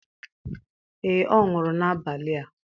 Ee, ọ nwụrụ n'abalị a.